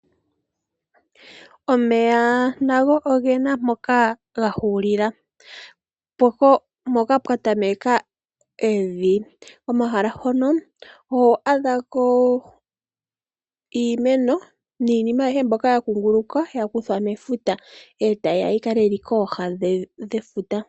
Omeya nago ogena mpoka ga hulila, mpoka pwatameka evi. Komahala hono oho adhako iimeno niinima ayihe mbyoka yakunguluka yakuthwa mefuta etayi ya yikale yili kooha dhefuta.